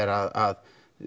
að